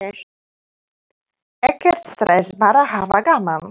Ekkert stress, bara hafa gaman!